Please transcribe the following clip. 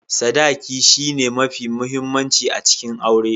Sadaki shi ne mafi muhimmanci a cikin aure.